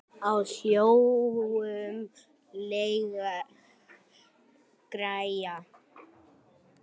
Á hjólum léleg græja.